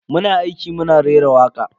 Muna aiki muna rera waka.